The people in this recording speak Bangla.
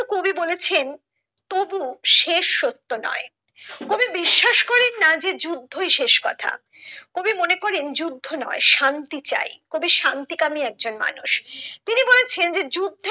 কবি বলেছেন তবু শেষ সত্য নয় কবি বিশ্বাস করেন না যে যুদ্ধই শেষ কথা কবি মনে করেন যুদ্ধ নয় শান্তি চাই কবি শান্তি কামি একজন মানুষ তিনি বলেছন যে যুদ্ধের